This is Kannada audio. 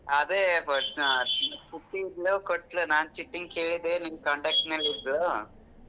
ಅದೇ ಪುಟ್ಟಿ ಇದ್ಲು ಕೊಟ್ಲು ನಾನ್ ಚಿಟ್ಟಿನ್ ಕೇಳಿದೆ ನಿನ್ನ್ contact ನಲ್ಲಿದ್ಲು.